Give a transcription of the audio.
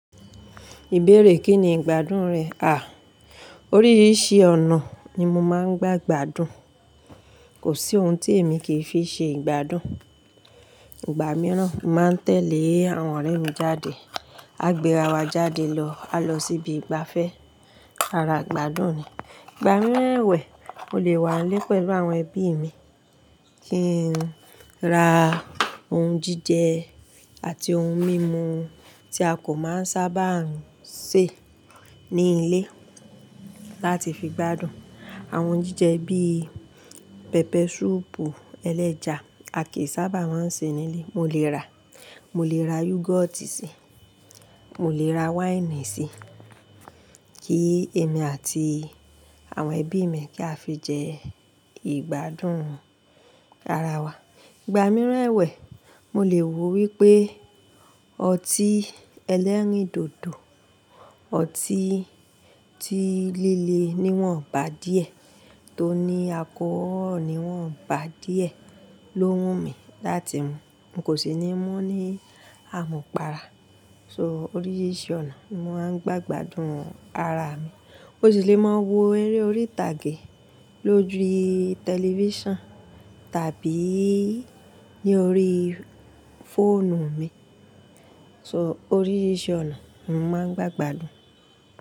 Ìbéèrè kí ni ìgbádùn rẹ̀? À, oríṣiríṣi ọ̀nà ni mo máa ń gba gbádùn. Kò sí ohun tí èmi kì í fi ṣe ìgbádùn. Ìgbà mìíràn, mo máa ń tẹ̀lé àwọn ọ̀rẹ́ mi jáde. A gbéra wa jáde lọ, a lọ síbi ìgbafẹ́. Ara ìgbádùn ni. Ìgbà mìíràn ẹ̀wẹ̀, mo lè wà nlé pẹ̀lú àwọn ẹbí mi, kí n ra ohun jíjẹ àti ohun mímu tí a kò máa ń sábà ń ṣe ní ilé láti fi gbádùn. Àwọn oun jíjẹ bí pẹpẹ súpù ẹlẹ́ja a kìí sábà máa ń ṣe nílé. Mo lè rà, mo lè rà yúgọ́ọ́tì sí, mo lè rà wáìnì sí, kí èmi àti àwọn ẹbí mi kí á fi jẹ ìgbádùn ara wa. Ìgbà mìíràn ẹ̀wẹ̀, mo lè wò wípé ọtí ẹlẹ́rìndòdò, ọtí tí líle ni wọ́n bà díẹ̀, tó ní alcohol ni wọ́n bà díẹ̀ ló wù mí láti mú. Mo kò sì ní mú ní àmupara. So oríṣiríṣi ọ̀nà ni mo máa ń gba gbádùn ara mi. Mo sì lè máa wo eré orí ìtàgé lójú tẹlifíṣàn tàbí ní orí fóònù mi. So oríṣiríṣi ọ̀nà mo máa ń gba ìgbádùn.